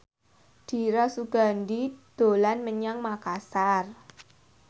Dira Sugandi dolan menyang Makasar